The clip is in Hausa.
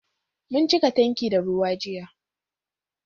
Mun cika tanki da ruwa jiya